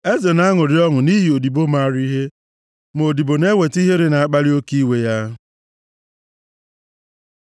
Eze na-aṅụrị ọṅụ nʼihi odibo maara ihe; ma odibo na-eweta ihere na-akpali oke iwe ya.